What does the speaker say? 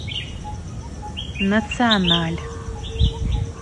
националь